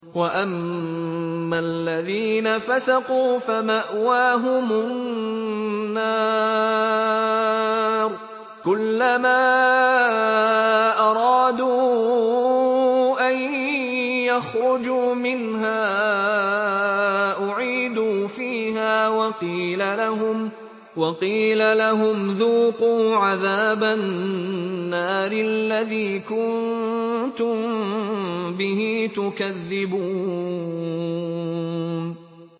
وَأَمَّا الَّذِينَ فَسَقُوا فَمَأْوَاهُمُ النَّارُ ۖ كُلَّمَا أَرَادُوا أَن يَخْرُجُوا مِنْهَا أُعِيدُوا فِيهَا وَقِيلَ لَهُمْ ذُوقُوا عَذَابَ النَّارِ الَّذِي كُنتُم بِهِ تُكَذِّبُونَ